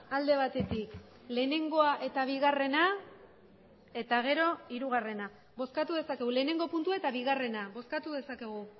alde batetik lehenengoa eta bigarrena eta gero hirugarrena bozkatu dezakegu lehenengo puntua eta bigarrena bozkatu dezakegu